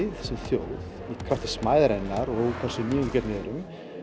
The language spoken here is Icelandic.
krafti smæðarinnar og hversu nýjungagjörn við erum